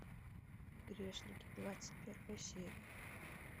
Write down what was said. грешники двадцать первая серия